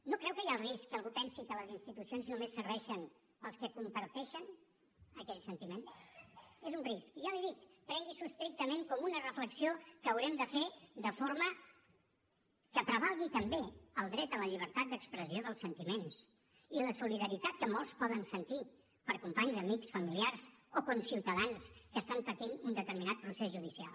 no creu que hi ha el risc que algú pensi que les institucions només serveixen pels que comparteixen aquell sentiment és un risc i ja l’hi dic prengui s’ho estrictament com una reflexió que haurem de fer de forma que prevalgui també el dret a la llibertat d’expressió dels sentiments i la solidaritat que molts poden sentir per companys amics familiars o conciutadans que estan patint un determinat procés judicial